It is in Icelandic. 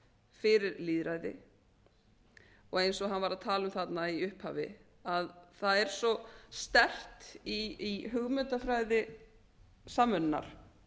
fyrir lýðræði og eins og hann var að tala um þarna í upphafi að það er svo sterkt í hugmyndafræði samvinnunnar